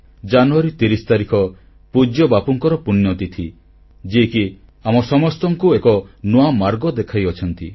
ଜାନୁୟାରୀ 30 ତାରିଖ ପୂଜ୍ୟ ବାପୁଙ୍କର ପୁଣ୍ୟତିଥି ଯିଏକି ଆମ ସମସ୍ତଙ୍କୁ ଏକ ନୂଆ ମାର୍ଗ ଦେଖାଇଛନ୍ତି